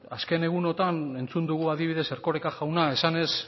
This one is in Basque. azken egunotan entzun dugu adibidez erkoreka jauna esanez